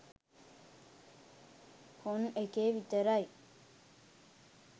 horn එකේ විතරයි